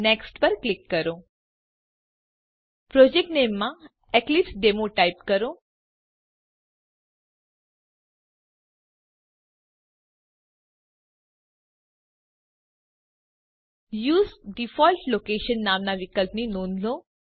next પર click કરો project નામે માં એક્લિપ્સેડેમો ટાઈપ કરો યુએસઇ ડિફોલ્ટ લોકેશન નામના વિકલ્પની નોંધ લો